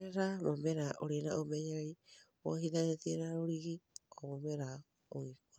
oherera mũmera ũrĩ na ũmenyererĩ wohĩthanĩtĩe na rũrĩgĩ o mũmera ũgĩkũraga